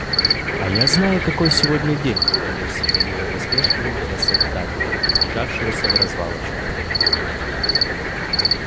а я знаю какой сегодня день донёсся до него насмешливый голосок дадли приближавшегося вразвалочку